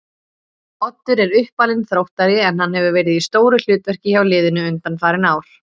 Oddur er uppalinn Þróttari en hann hefur verið í stóru hlutverki hjá liðinu undanfarin ár.